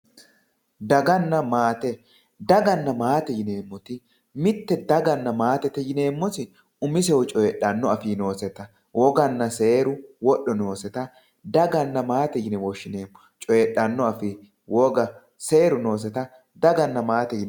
daganna maate dagana maate yineemoti mitte dagana maatete yineemoti umisehu coyiixanno afii nooseta woganna seeru woxxo nooseta daganna maate yine woshineemo coyiixxanno afii, woga, seeru nooseta daganna maate yinayi.